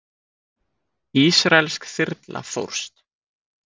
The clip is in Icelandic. Ísraelsk þyrla fórst